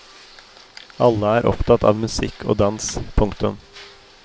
Alle er opptatt av musikk og dans. punktum